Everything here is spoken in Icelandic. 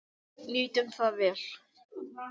Nýtum það vel.